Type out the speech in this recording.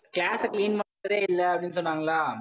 class ஆ clean பண்றதே இல்ல அப்படின்னு சொன்னாங்களா?